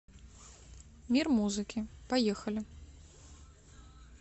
мир музыки поехали